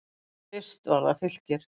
Fyrst var það Fylkir.